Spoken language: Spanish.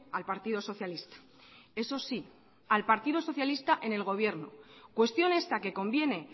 al partido socialista eso sí al partido socialista en el gobierno cuestión esta que conviene